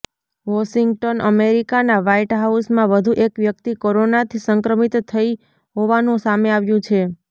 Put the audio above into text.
Washington અમેરિકાના white હાઉસમાં વધુ એક વ્યક્તિ કોરોનાથી સંક્રમિત થઈ હોવાનું સામે આવ્યું છે